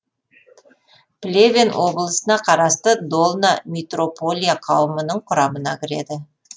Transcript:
плевен облысына қарасты долна митрополия қауымының құрамына кіреді